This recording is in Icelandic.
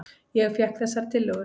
Ég fékk þessar tillögur.